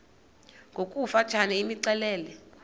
ngokofu tshane imxelele